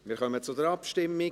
Wir kommen zur Abstimmung.